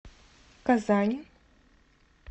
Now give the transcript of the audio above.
казань